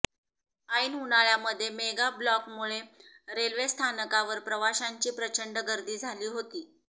ऐन उन्हाळ्यामध्ये मेगा ब्लॉकमुळे रेल्वे स्थानकावर प्रवाशांची प्रचंड गर्दी झाली होती